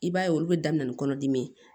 I b'a ye olu bɛ daminɛ ni kɔnɔdimi ye